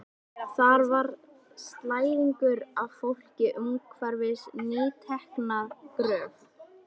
Þar var slæðingur af fólki umhverfis nýtekna gröf.